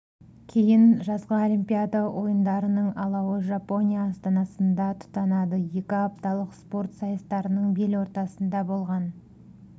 кейін жазғы олимпиада ойындарының алауы жапония астанасында тұтанады екі апталық спорт сайыстарының бел ортасында болған